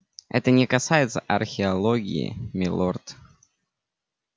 это не касается археологии милорд